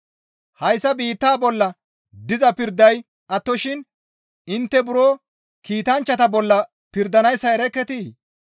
Hayssa biittaa bolla diza pirday attoshin intte buro kiitanchchata bolla pirdanayssa erekketii?